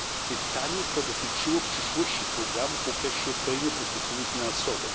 Pytanie to dotyczyło przyszłości programu w okresie kolejnej perspektywy finansowej.